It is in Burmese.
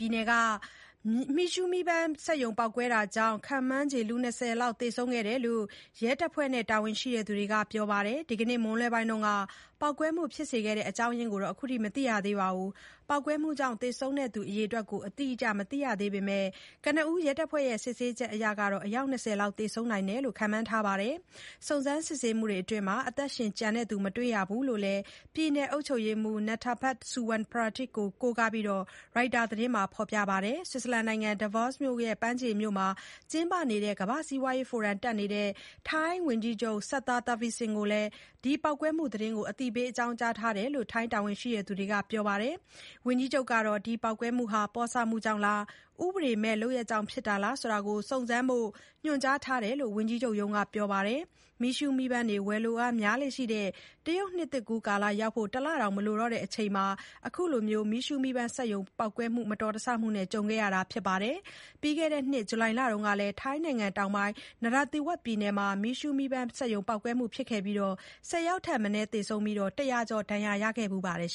ြည်နယ်က မီးရှုးမီးပန်းစက်ရုံ ပေါက်ကွဲမှုကြောင့် ခန့်မှန်းခြေ လူ ၂၀ လောက် သေဆုံးကြောင်း ရဲတပ်ဖွဲ့နဲ့ တာဝန်ရှိသူတွေက ပြောပါတယ်။ ဒီကနေ့ မွန်းလွဲပိုင်းက ပေါက်ကွဲမှုဖြစ်ခဲ့တဲ့ အကြောင်းရင်းကိုတော့ မသိရသေးပါဘူး။ ပေါက်ကွဲမှုကြောင့် သေဆုံးသူ အရေအတွက်ကို အတိအကျ မသိရသေးပေမဲ့ ကနဦးရဲတပ်ဖွဲ့ရဲ့ စစ်ဆေးချက်အရ ၂၀ လောက် ရှိနိုင်တယ်လို့လည်း ခန့်မှန်းထားပါတယ်။ စုံစမ်းစစ်ဆေးမှုတွေအတွင်း အသက်ရှင်ကျန်သူ မတွေ့ရဘူးလို့လည်း ပြည်နယ်အုပ်ချုပ်ရေးမှူး Nattapat Suwanprateep ကို ကိုးကားပြီး ရိုက်တာသတင်းက ဖော်ပြခဲ့တာပါ။ ဆွစ်ဇာလန်နိုင်ငံ Davos အပမ်းဖြေမြို့မှာ ကျင်းပနေတဲ့ ကမ္ဘာ့စီးပွားရေးဖိုရမ် တက်ရောက်နေတဲ့ ထိုင်းဝန်ကြီးချုပ် Srettha Thavisin ကိုလည်း ပေါက်ကွဲမှုသတင်းကို အသိပေးထားတယ်လို့ တာဝန်ရှိသူတွေက ပြောပါတယ်။ ဝန်ကြီးချုပ်ကတော့ ပေါက်ကွဲမှုဟာ ပေါ့ဆမှုကြောင့်လား၊ ဥပဒေမဲ့ လုပ်ရပ်ကြောင့်လားဆိုတာ စုံစမ်းဖို့ ညွှန်ကြားထားတယ်လို့လည်း ဝန်ကြီးချုပ်ရုံးက ပြောပါတယ်။ မီးရှုးမီးပန်းတွေ ဝယ်လိုအားများလေ့ရှိတဲ့ တရုတ်နှစ်သစ်ကူး ရောက်ဖို့ တလတောင် မလိုတော့တဲ့ အချိန်မှာပဲ မတော်တဆမှုနဲ့ ကြုံခဲ့ရတာပါ။ ပြီးခဲ့တဲ့နှစ် ဇူလိုင်လမှာတုန်းကလည်း ထိုင်းနိုင်ငံတောင်ပိုင်း Narathiwat ပြည်နယ်မှာ မီးရှုးမီးပန်းစက်ရုံ ပေါက်ကွဲမှု ဖြစ်ခဲ့ရာက ၁၀ ယောက်ထက်မနည်း သေဆုံးပြီး ၁၀၀ ကျော် ဒဏ်ရာရခဲ့ဖူးပါတယ်